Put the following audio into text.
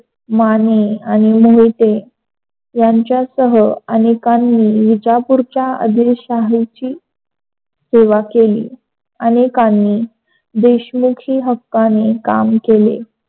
माने आणि मोहिते यांच्यासह अनेकांनी विजापूरच्या अदिलशाहीची सेवा केली. अनेकांनी देशमुखी हक्काने काम केले.